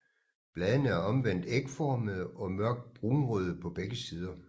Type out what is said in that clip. Bladene er omvendt ægformede og mørkt brunrøde på begge sider